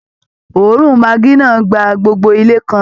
Òórùn maggi náà gba gbogbo ilé kan